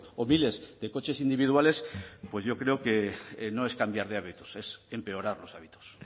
o miles de coches individuales pues yo creo que no es cambiar de hábitos es empeorar los hábitos